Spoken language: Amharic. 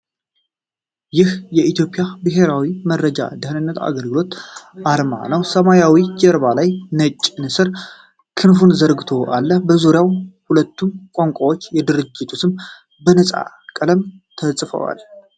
ይህ የኢትዮጵያ ብሔራዊ መረጃና ደኅንነት አገልግሎት ዓርማ ነው። ሰማያዊ ጀርባ ላይ ነጭ ንስር ክንፉን ዘርግቶ አለ፣ በዙሪያው በሁለቱም ቋንቋዎች የድርጅቱ ስም በነጭ ቀለም ተጽፏል።